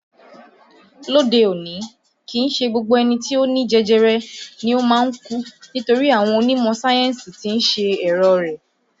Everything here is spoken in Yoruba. Lóde òní kìí ṣe gbogbo ẹni tí ó ní jẹjẹrẹ ni o máa ń kú nítorí àwọn onímọ̀ sáyẹ́ǹsì tí ń ṣe ẹ̀rọ̀ rẹ̀